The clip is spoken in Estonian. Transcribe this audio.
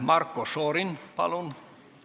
Marko Šorin, palun!